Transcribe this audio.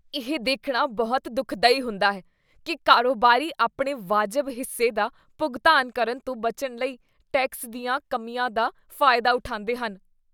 ਇਹ ਦੇਖਣਾ ਬਹੁਤ ਦੁਖਦਾਈ ਹੁੰਦਾ ਹੈ ਕੀ ਕਾਰੋਬਾਰੀ ਆਪਣੇ ਵਾਜਬ ਹਿੱਸੇ ਦਾ ਭੁਗਤਾਨ ਕਰਨ ਤੋਂ ਬਚਣ ਲਈ ਟੈਕਸ ਦੀਆਂ ਕਮੀਆਂ ਦਾ ਫਾਇਦਾ ਉਠਾਉਂਦੇ ਹਨ।